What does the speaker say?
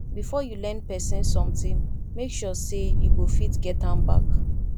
before you lend pesin sometin make sure sey you go fit get am back